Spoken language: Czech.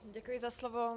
Děkuji za slovo.